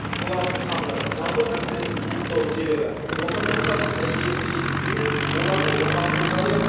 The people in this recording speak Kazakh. солардың тағдыры жалпы мәселенің туындау себебі отандастарымызды елге жеткізу мен оларды оңалту жайы